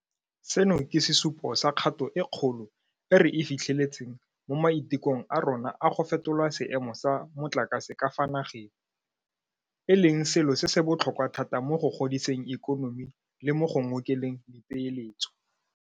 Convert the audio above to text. Seno ke sesupo sa kgato e kgolo e re e fitlheletseng mo maitekong a rona a go fetola seemo sa motlakase ka fa nageng, e leng selo se se botlhokwa thata mo go godiseng ikonomi le mo go ngokeleng dipeeletso.